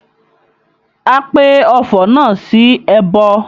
A pe ọfọ̀ náà sí ẹbọ